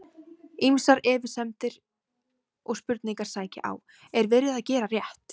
Ýmsar efasemdir og spurningar sækja á: Er verið að gera rétt?